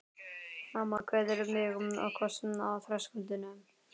Mamma kveður mig með kossi á þröskuldinum.